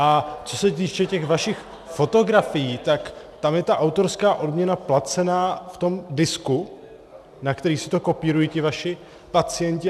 A co se týče těch vašich fotografií, tak tam je ta autorská odměna placena v tom disku, na který si to kopírují ti vaši pacienti.